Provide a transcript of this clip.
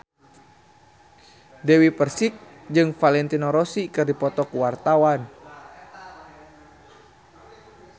Dewi Persik jeung Valentino Rossi keur dipoto ku wartawan